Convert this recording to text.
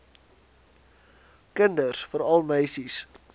kinders veral meisies